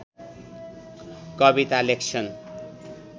कविता लेख्छन्